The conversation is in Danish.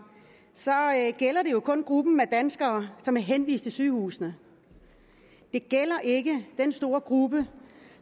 gælder det kun gruppen af danskere som bliver henvist til sygehusene det gælder ikke den store gruppe